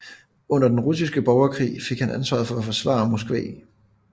Under Den Russiske Borgerkrig fik han ansvaret for at forsvare Moskva